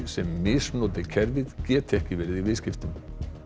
sem misnoti kerfið geti ekki verið í viðskiptum